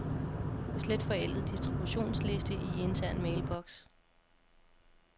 Slet forældet distributionsliste i intern mailbox.